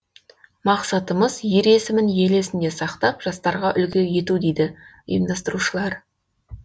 мақсатымыз ер есімін ел есінде сақтап жастарға үлгі ету дейді ұйымдастырушылар